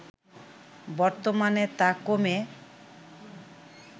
বর্তমানে তা কমে